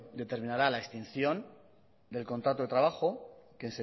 determinará la extinción del contrato de trabajo que